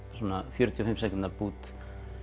fjörutíu og fimm sekúndna bút